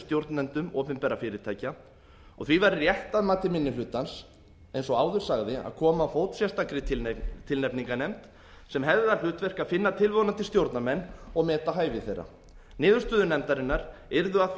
stjórnendum opinberra fyrirtækja því væri rétt að mati minni hlutans eins og áður sagði að koma á fót sérstakri tilnefningarnefnd sem hefði það hlutverk að finna tilvonandi stjórnarmenn og meta hæfi þeirra niðurstöður nefndarinnar yrðu að því